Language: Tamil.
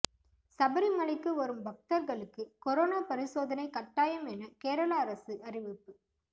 சபரிமலைக்கு வரும் பக்தர்களுக்கு கொரோனா பரிசோதனை கட்டாயம் என கேரள அரசு அறிவிப்பு